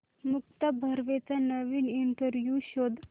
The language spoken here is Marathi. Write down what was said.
मुक्ता बर्वेचा नवीन इंटरव्ह्यु शोध